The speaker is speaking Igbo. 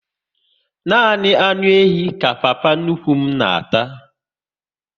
Nani anụ ehi ka papa nnukwu m na ata